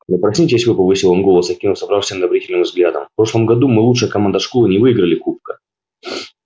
да проснитесь вы повысил он голос окинув собравшихся неодобрительным взглядом в прошлом году мы лучшая команда школы не выиграли кубка